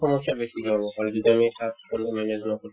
সমস্যা বেছিকে হ'ব কাৰণ যদি আমি চাফ-চিকুণতো manage নকৰো